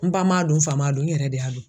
N ba m'a dun n fa m'a dun n yɛrɛ de y'a dun